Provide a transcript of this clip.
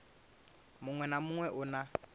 muṅwe na muṅwe u na